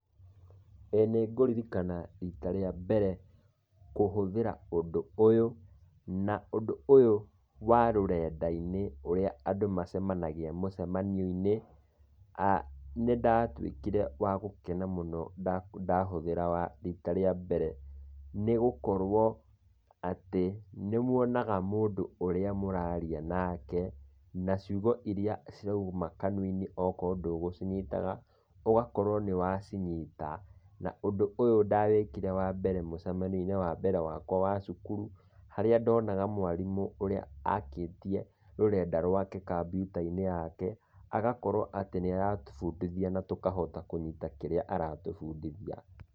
Ĩĩ nĩ ngũririkana rita rĩa mbere kũhũthĩra ũndũ ũyũ, na ũndũ ũyũ wa rũrenda-inĩ ũrĩa andũ macemanagia mũcemanio-inĩ, nĩ ndatuĩkire wa gũkena mũno ndahũthĩra rita rĩa mbere, nĩgũkorwo atĩ, nĩ mwonaga mũndũ ũrĩa mũraria nake, na ciugo iria cirauma kanua-inĩ okorwo ndũgũcinyitaga, ũgakorwo nĩ wacinyita. Na ũndũ ũyũ ndawĩkire rĩa mbere mũcemanio-inĩ wakwa wa cukuru, harĩa ndonaga mwarimũ, ũrĩa akĩtie rũrenda rwake kambyuta-inĩ yake, agakorwo atĩ nĩ aratũbũndithia na tũkahota kũnyita kĩrĩa aratũbundithia.